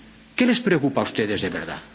¿Qué les preocupa a ustedes de verdad?